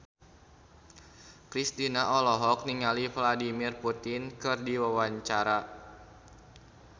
Kristina olohok ningali Vladimir Putin keur diwawancara